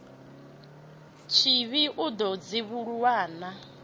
tshivhi o ḓo dzivhuluwa a